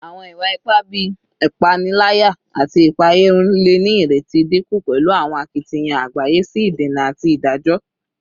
Awọn iwa-ipa bii ipanilaya ati ipaeyarun le ni ireti dinku pẹlu awọn akitiyan agbaye si idena ati idajọ